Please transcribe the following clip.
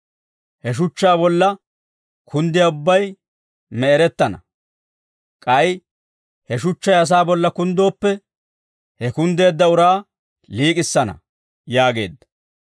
He shuchchaa bolla kunddiyaa ubbay me'erettana; k'ay he shuchchay asaa bolla kunddooppe, he kunddeedda uraa liik'issana» yaageedda.